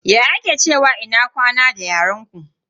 Ya ake cewa ina kwana da yaren ku?